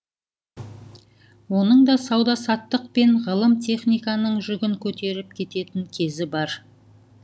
оның да сауда саттық пен ғылым техниканың жүгін көтеріп кететін кезі бар